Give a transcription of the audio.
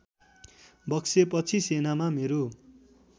बक्सेपछि सेनामा मेरो